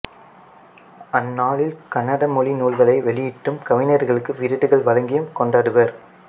அந்நாளில் கன்னட மொழி நூல்களை வெளியிட்டும் கவிஞர்களுக்கு விருதுகள் வழங்கியும் கொண்டாடுவர்